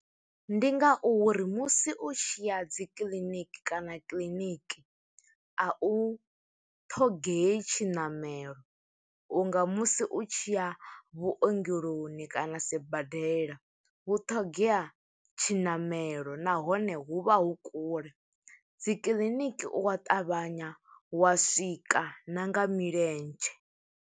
Ndi nga uri musi u tshi ya dzi kiḽiniki, kana kiḽiniki, a u ṱhogei tshiṋamelo, u nga musi u tshi ya vhuongeloni, ni kana sibadela. Hu ṱhogea tshiṋamelo, nahone hu vha hu kule. Dzi kiḽiniki u wa ṱavhanya wa swika, na nga milenzhe.